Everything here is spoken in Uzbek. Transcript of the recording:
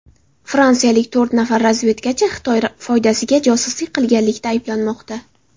Fransiyalik to‘rt nafar razvedkachi Xitoy foydasiga josuslik qilganlikda ayblanmoqda.